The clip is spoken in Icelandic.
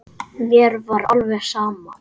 Mér var alveg sama.